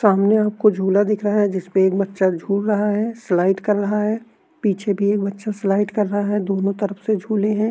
सामने आप को झूला दिख रहा है जिसपे एक बच्चा झूल रहा है स्लाइड कर रहा है पीछे भी एक बच्चा स्लाइड कर रहा है दोनों तरफ से झूले हैं।